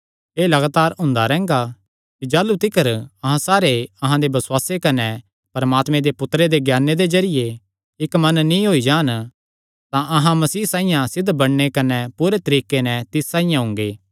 एह़ लगातार हुंदा रैंह्गा कि जाह़लू तिकर अहां सारे अहां दे बसुआसे कने परमात्मे दे पुत्तरे दे ज्ञाने दे जरिये इक्क मन नीं होई जान तां अहां मसीह साइआं सिद्ध बणगे कने पूरे तरीके नैं तिस साइआं हुंगे